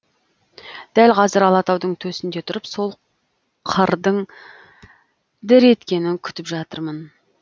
дәл қазір алатаудың төсінде тұрып сол қырдың дір еткенін күтіп жатырмын